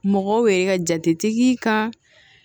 Mɔgɔw yɛrɛ ka jate kan